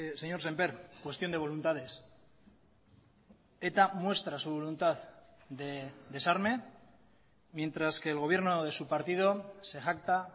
señor semper cuestión de voluntades eta muestra su voluntad de desarme mientras que el gobierno de su partido se jacta